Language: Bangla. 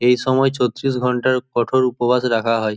এই সময় ছত্রিশ ঘন্টার কঠোর উপবাস রাখা হয়।